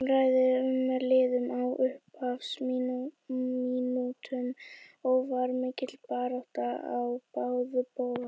Jafnræði var með liðunum á upphafsmínútunum og var mikil barátta á báða bóga.